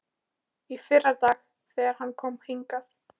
Í fyrradag, þegar hann kom hingað.